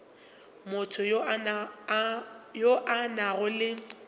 motho yo a nago le